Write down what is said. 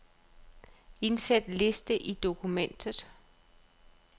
Indsæt liste i dokumentet.